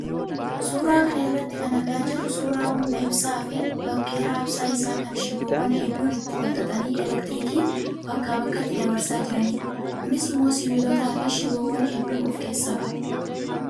Suuraa kana irraa kan argaa jirru suuraa humna ibsaa fi bakka raabsaa isaa kan shiboowwan hedduun itti wal xaxanii elektiriikii bakkaa bakkatti dabarsaa jiranidha. Kunis immoo sibiilotaa fi shiboowwan hedduu of keessaa qaba.